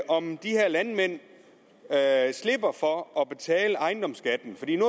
om de her landmænd slipper for at betale ejendomsskat